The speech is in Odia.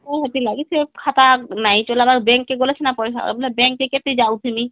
ହେତି ଲାଗି ସେ ଖାତା ନାଇଁ ଚଲେଇବାର bank ଗଲେ ସିନା ପଇସା bank କେ କେତେ ଯାଉଥିମି